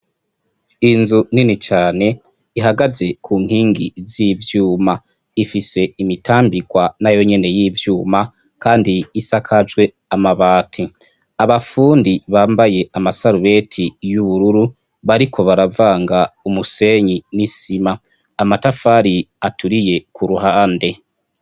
Inzu nini cane ihagaze ku nkingi z'ivyuma, ifise imitambikwa na yo nyene y'ivyuma kandi isakajwe amabati, abafundi bambaye amasarubeti y'ubururu bariko baravanga umusenyi n'isima, amatafari aturiye ku ruhande.